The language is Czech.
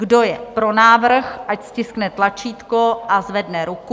Kdo je pro návrh, ať stiskne tlačítko a zvedne ruku.